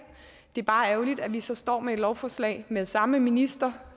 det er bare ærgerligt at vi så står med et lovforslag med samme minister